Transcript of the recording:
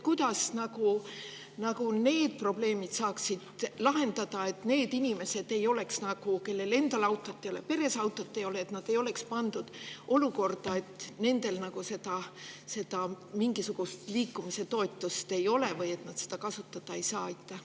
Kuidas need probleemid saaks lahendada nii, et need inimesed, kellel endal autot ei ole, kelle peres autot ei ole, ei oleks pandud olukorda, kus nendel mingisugust liikumise toetust ei ole või nad seda kasutada ei saa?